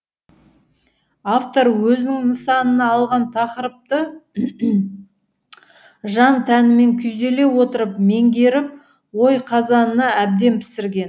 автор өзінің нысанына алған тақырыпты жан тәнімен күйзеле отырып меңгеріп ой қазанына әбден пісірген